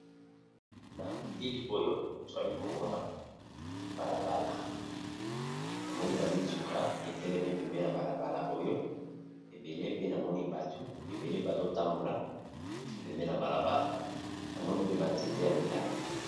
Na bilili oyo twali komona balabala na moni ba mituka etelemi pembeni na balabala oyo ebele pe namoni batu ebele bazo tambola pembeni ya balabala na moni pe ba nzete ya milayi.